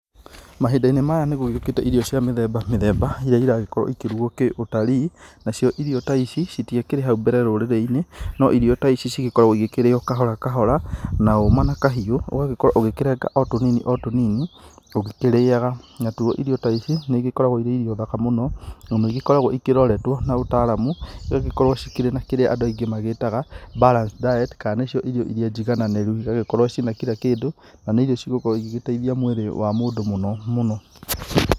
Mahinda-inĩ maya nĩ gũkĩte irio cia mĩthemba mĩthemba irĩa iragĩkorwo ikĩrugwo kĩũtari. Nacio irio ta ici citiakirĩ ha u mbere rũrĩrĩ-inĩ no irio ta ici cigĩkoragwo ikĩrĩyo kahora kahora na hũma na kahiũ. Ũgagĩkorwo ũkĩrenga o tũnini tũnini ũgĩkĩrĩyaga. Na tuũ irio ta ici ikoragwo irĩ irio thaka mũno na nĩigĩkoragwo iroretwo na ũtaramu igagĩkorwo cikĩrĩ na kĩrĩa andũ aingĩ magĩtaga balanced diet kana nĩcio irio irĩa njigananĩru cigagĩkorwo ci na kira kindũ, na nĩ irio cigũkorwo igĩteithia mwĩrĩ wa mũndũ mũno mũno.